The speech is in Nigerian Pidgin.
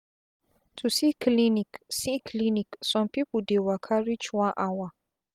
to see clinic see clinic sum pipu dey waka reach one hour